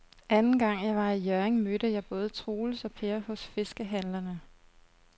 Anden gang jeg var i Hjørring, mødte jeg både Troels og Per hos fiskehandlerne.